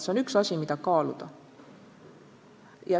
See on üks asi, mida kaaluda.